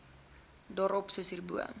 daarop soos hierbo